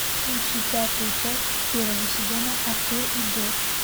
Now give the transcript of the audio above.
включи пятую часть первого сезона артур и джордж